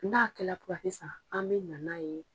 N'a kɛlɛ k'o a tɛ san an mina n'a ye